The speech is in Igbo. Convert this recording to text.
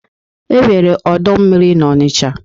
E nwere ọdụ ụgbọ mmiri n'Ọnịcha.